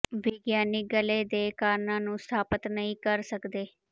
ਵਿਗਿਆਨੀ ਗਲ਼ੇ ਦੇ ਕਾਰਨਾਂ ਨੂੰ ਸਥਾਪਤ ਨਹੀਂ ਕਰ ਸਕਦੇ